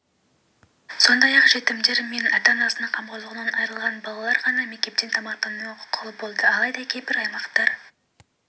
сондай-ақ жетімдер мен ата-анасының қамқорлығынан айырылған балалар ғана мектептен тамақтануға құқылы болды алайда кейбір аймақтар